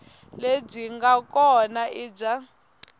lebyi nga kona i bya